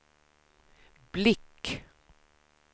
blick